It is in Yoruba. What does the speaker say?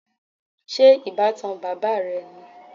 Ṣé ìbátan bàbá rẹ ni?